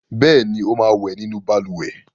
Bẹ́ẹ̀ ni, ó máa wẹ̀ nínú balùwẹ̀.